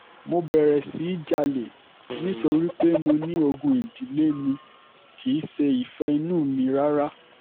mo bẹ̀rẹ̀ sí í jalè nítorí pé mo ní ogún ìdílé ni kì í ṣe ìfẹ́ inú mi rárá